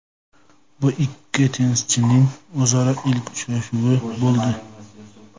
Bu ikki tennischining o‘zaro ilk uchrashuvi bo‘ldi.